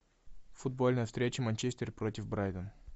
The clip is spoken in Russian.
футбольная встреча манчестер против брайтон